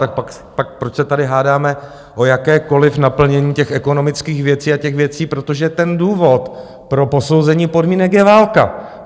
Tak proč se tady hádáme o jakékoliv naplnění těch ekonomických věcí a těch věcí, protože ten důvod pro posouzení podmínek je válka.